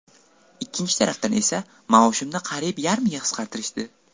Ikkinchi tarafdan esa maoshimni qariyb yarmiga qisqartirishdi.